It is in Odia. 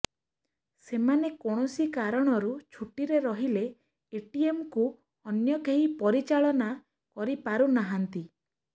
ସେମାନେ କୌଣସି କାରଣରୁ ଛୁଟିରେ ରହିଲେ ଏଟିଏମ୍କୁ ଅନ୍ୟ କେହି ପରିଚାଳନା କରି ପାରୁନାହାନ୍ତି